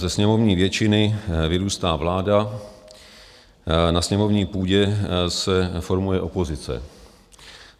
Ze sněmovní většiny vyrůstá vláda, na sněmovní půdě se formuje opozice.